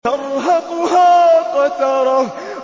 تَرْهَقُهَا قَتَرَةٌ